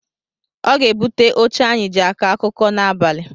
Ọ ga-ebute oche anyị jị akọ akụkọ n’abalị